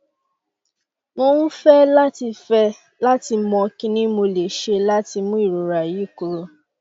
mo um fẹ lati fẹ lati mọ kini mo le ṣe lati mu irora yi kuro